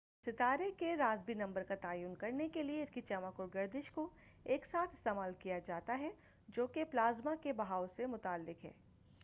ستارے کے Rossby number کا تعین کرنے کے لئے اس کی چمک اور گردش کو ایک ساتھ استعمال کیا جاتا ہے جو کہ پلازما کے بہاؤ سے متعلق ہے